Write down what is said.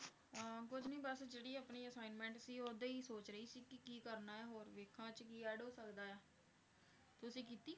ਅਹ ਕੁਛ ਨੀ ਬਸ ਜਿਹੜੀ ਆਪਣੀ assignment ਸੀ ਉਹਦਾ ਹੀ ਸੋਚ ਰਹੀ ਸੀ ਕਿ ਕੀ ਕਰਨਾ ਹੈ ਹੋਰ ਵੇਖਾਂ ਇਹ 'ਚ ਕੀ add ਹੋ ਸਕਦਾ ਹੈ ਤੁਸੀਂ ਕੀਤੀ?